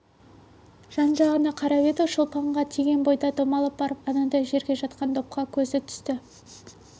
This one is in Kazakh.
жан-жағына қарап еді шолпанға тиген бойда домалап барып анадай жерде жатқан допқа көзі түсті